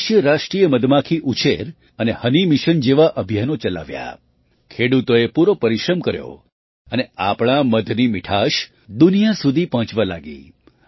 દેશે રાષ્ટ્રીય મધમાખી ઉછેર અને હની મિશન જેવાં અભિયાનો ચલાવ્યાં ખેડૂતોએ પૂરો પરિશ્રમ કર્યો અને આપણા મધની મીઠાશ દુનિયા સુધી પહોંચવા લાગી